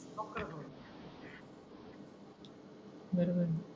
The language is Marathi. भेटू मग